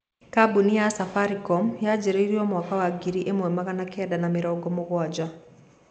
Kambũni ya Safaricom yanjĩrĩĩrĩo mwaka wa ngiri imwe magana kenda ma mĩrongo mũgwanja